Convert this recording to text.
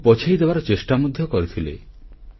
ତାଙ୍କୁ ପଛେଇଦେବାର ଚେଷ୍ଟା ମଧ୍ୟ କରିଥିଲେ